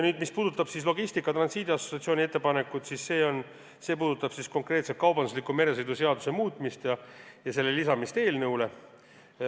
Nüüd, mis puudutab Logistika ja Transiidi Assotsiatsiooni ettepanekut, siis see puudutab konkreetselt kaubandusliku meresõidu seaduse muutmist ja selle lisamist eelnõule.